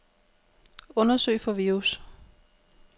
Undersøg for virus.